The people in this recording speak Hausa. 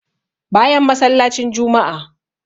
Bayan masallacin juma'a